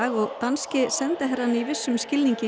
og danski sendiherrann líka í vissum skilningi í